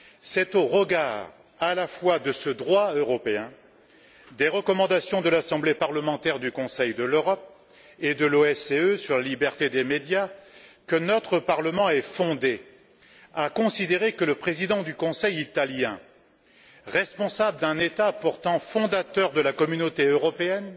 C'est au regard à la fois de ce droit européen, des recommandations de l'Assemblée parlementaire du Conseil de l'Europe et de l'OSCE sur la liberté des médias, que notre Parlement est fondé à considérer que le président du Conseil italien, responsable d'un État pourtant fondateur de la Communauté européenne,